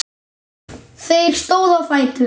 Þeir stóðu á fætur.